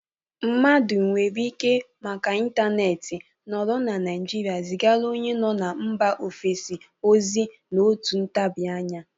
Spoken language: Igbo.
Mmadụ nwere ike, maka intaneeti, nọrọ na Naịjịrịa zigara onye nọ na mba ofesi ozi n'otu ntabị anya.